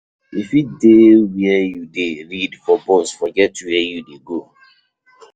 You fit dey where you dey read for bus forget where you dey go.